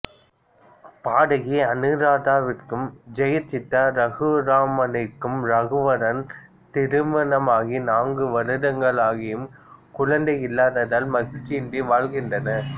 பாடகி அனுராதாவிற்கும் ஜெயசித்ரா ரகுராமனிற்கும் ரகுவரன் திருமணமாகி நான்கு வருடங்களாகியும் குழந்தை இல்லாததால் மகிழ்ச்சியின்றி வாழ்கின்றனர்